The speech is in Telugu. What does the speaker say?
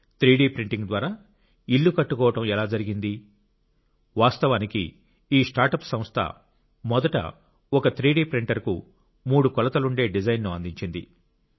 3 డి ప్రింటింగ్ ద్వారా ఇల్లు కట్టుకోవడం ఎలా జరిగింది వాస్తవానికి ఈ స్టార్ట్అప్ సంస్థ మొదట ఒక 3D ప్రింటర్కు మూడు కొలతలుండే డిజైన్ ను అందించింది